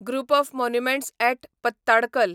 group of monuments at Pattadakal